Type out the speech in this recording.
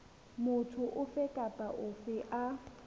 motho ofe kapa ofe a